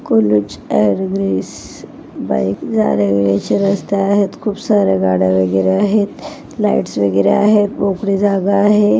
कुलच and ग्रीस जाण्यायेण्याच्या रस्ता आहेत खूप साऱ्या गाड्या वगैरे आहेत लाईट्स वगैरे आहेत मोकळी जागा आहे.